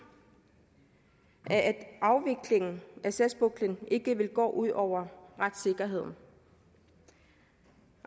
at afviklingen af sagspuklen ikke vil gå ud over retssikkerheden